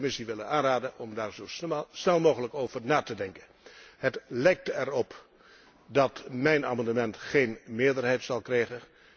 Ik zou de Commissie willen aanraden om daar zo snel mogelijk over na te denken. Het lijkt erop dat mijn amendement geen meerderheid zal krijgen.